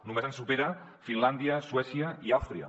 només ens superen finlàndia suècia i àustria